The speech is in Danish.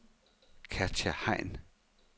Katja Hein